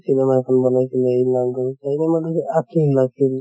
cinema এখন বনাইছিলে album ত আছে আছিল আছিল